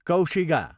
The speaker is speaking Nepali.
कौशिगा